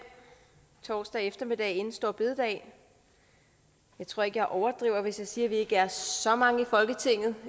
torsdag eftermiddag inden store bededag jeg tror ikke jeg overdriver hvis jeg siger at vi ikke er så mange i folketinget